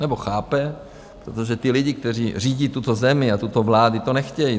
Nebo chápe, protože ti lidi, kteří řídí tuto zemi, a tato vláda to nechtějí.